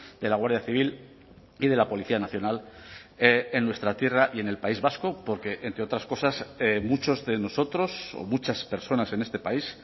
de la guardia civil y de la policía nacional en nuestra tierra y en el país vasco porque entre otras cosas muchos de nosotros o muchas personas en este país